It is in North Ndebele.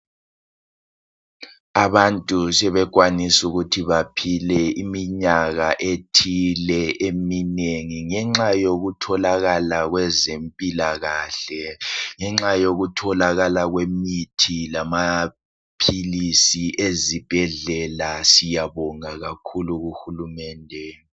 Abantu bebekwanisa ukuthi baphile iminyaka eminengi ngenxa yezempilakahle ngenxa yokutholakala kwemithi lamaphilizi ezibhedlela siyabonga kakhulu kuhulumende